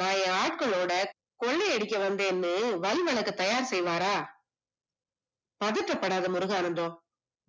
நான் என் ஆட்கள்ளோட கொள்ளை அடிக்க வந்தேன்னு தயார் செய்வாரா பதட்டப்படாத முருகானந்தம்,